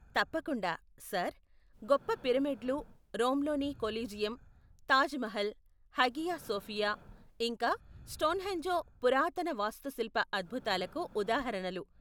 తప్పకుండా, సర్! గొప్ప పిరమిడ్లు, రోమ్లోని Colosseum, Taj Mahal, Hagia Sophia ఇంకా స్టోన్హెంజ్ పురాతన వాస్తుశిల్ప అద్భుతాలకు ఉదాహరణలు.